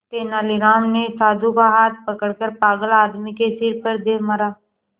तेनालीराम ने साधु का हाथ पकड़कर पागल आदमी के सिर पर दे मारा